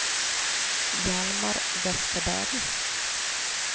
Hjalmar Vesterberg